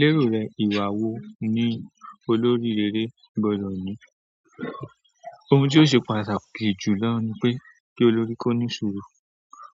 Lérò rẹ ìwà wo ni olórí rere gbọ́dọ̀ ní? Ohun tí ó ṣe pàtàkì jù lọ ni pé kí olórí kó ní sùúrù.